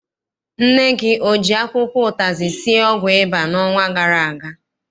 Nne gị o ji akwụkwọ ụtazị sie ọgwụ ịba n'ọnwa gara aga?